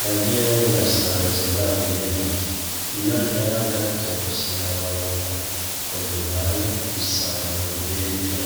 najewe nasanze babihejeje, iyo nteba gato sinababona ngo duhane isango ryejo.